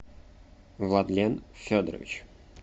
владлен федорович